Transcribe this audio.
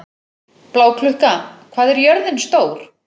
Bláklukka, hvað er jörðin stór?